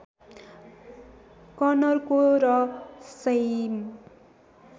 कनरको र सैम